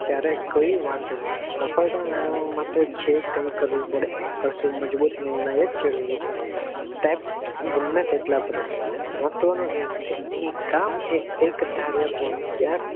જયારે કઈ વાંધો નથી સફળતા મેળવવા માટે જે કઈ કરવું પડે તે કરજો મજબૂતી ની જરૂરી છે step ગમે તેટલા ભરવા પડે મહત્વ નું આ નથી અહીં કામ એકધારીયુ પાનું થાય ત્યાંજ